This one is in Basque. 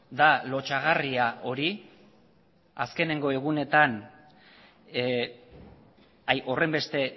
da lotsagarria hori azkeneko egunetan horrenbeste